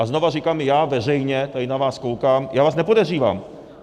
A znovu říkám já veřejně, tady na vás koukám, já vás nepodezřívám.